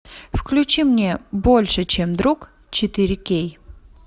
включи мне больше чем друг четыре кей